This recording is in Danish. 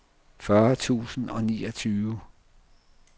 fyrre tusind og niogtyve